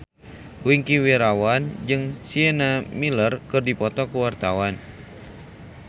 Wingky Wiryawan jeung Sienna Miller keur dipoto ku wartawan